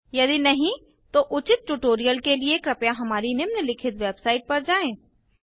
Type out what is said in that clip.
यदि नहीं तो उचित ट्यूटोरियल के लिए कृपया हमारी निम्नलिखित वेबसाईट पर जाएँ